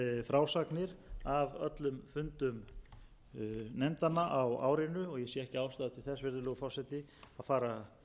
frásagnir af öllum fundum nefndanna á árinu og ég sé ekki ástæðu til þess virðulegur forseti að fara